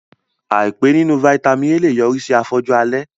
Àìpé nínú Vitamin A lè yọrí sí afọ́jú alẹ́